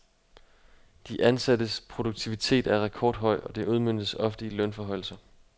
De ansattes produktivitet er rekordhøj, og det udmøntes ofte i lønforhøjelser.